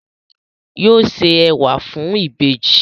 Yóò ṣe ẹwà fún ìbejì